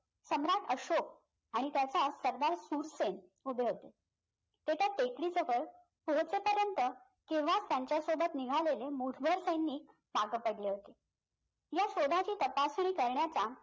सम्राट अशोक आणि त्याचा सरदार सुरसेन उभे होते तर त्या टेकडी जवळ पोहोचेपर्यंत तेव्हाच त्यांच्या सोबत निघालेले मूठभर सैनिक मागं पडले होते या शोधाची तपासणी करण्याचा